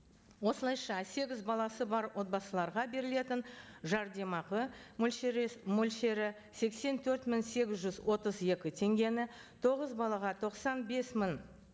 осылайша сегіз баласы бар отбасыларға берілетін жәрдемақы мөлшері мөлшері сексен төрт мың сегіз жүз отыз екі теңгені тоғыз балаға тоқсан бес мың